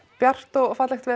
bjart og fallegt veður